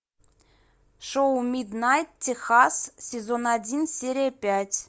шоу миднайт техас сезон один серия пять